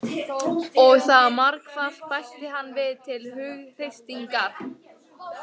Og það margfalt, bætti hann við til hughreystingar.